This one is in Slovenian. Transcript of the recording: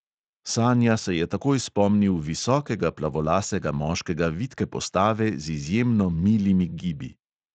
Sanja se je takoj spomnil visokega plavolasega moškega vitke postave z izjemno milimi gibi.